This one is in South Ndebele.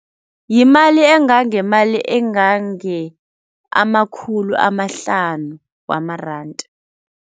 Yimali engangemali engange amakhulu amahlanu wamaranda.